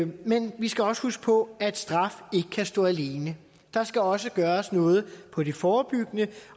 men vi skal også huske på at straf ikke kan stå alene der skal også gøres noget på det forebyggende